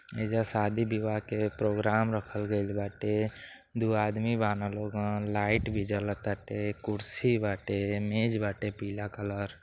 ऐजा शादी-विवाह के प्रोग्राम रखल गइल बाटे दू आदमी बाड़न लोगन लाइट भी जल ताटे कुर्सी बाटे मेज बाटे पीला कलर --